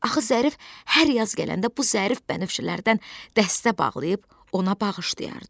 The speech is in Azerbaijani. Axı Zərif hər yaz gələndə bu zərif bənövşələrdən dəstə bağlayıb ona bağışlayardı.